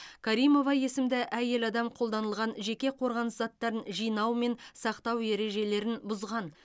каримова есімді әйел адам қолданылған жеке қорғаныс заттарын жинау мен сақтау ережелерін бұзған